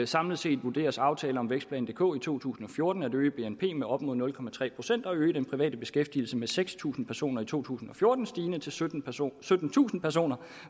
samlet set vurderes aftalen om vækstplan dk i to tusind og fjorten at øge bnp med op mod nul procent og øge den private beskæftigelse med seks tusind personer i to tusind og fjorten stigende til syttentusind syttentusind personer